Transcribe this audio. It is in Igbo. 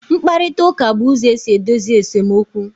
Nkparịta ụka bụ ụzọ esi edozi esemokwu